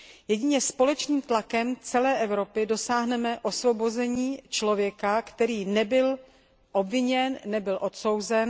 Jedině společným tlakem celé Evropy dosáhneme osvobození člověka, který nebyl obviněn, ani odsouzen.